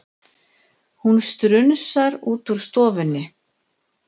Hún strunsar út úr stofunni.